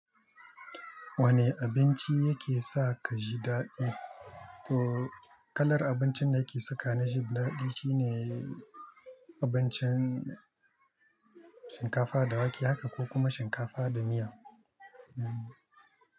Wane abinci yake sa kaji daɗi? To kalar abincin da yake saka na ji daɗi shine abincin shinkafa da wake haka ko kuma shinkafa da miya. Hmm.